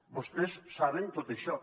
vostès saben tot això